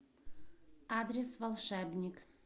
адрес волшебник